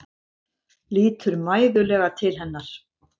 Lítur mæðulega til hennar.